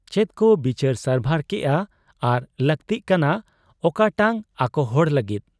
ᱪᱮᱫᱠᱚ ᱵᱤᱪᱟᱹᱨ ᱥᱟᱨᱵᱷᱟᱨ ᱠᱮᱜ ᱟ ᱟᱨ ᱞᱟᱟᱹᱠᱛᱤᱜ ᱠᱟᱱᱟ ᱚᱠᱟᱴᱟᱝ ᱟᱠᱚᱦᱚᱲ ᱞᱟᱹᱜᱤᱫ ᱾